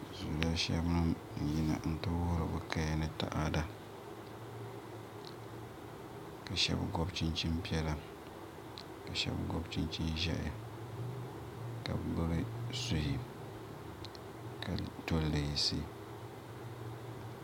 Zuliya shɛli nim n yina n ti wori bi kaya ni taada ka shab gobi chinchin piɛla ka shab gobI chinchin ʒiɛhi ka bi gbubi suhi ka to leensi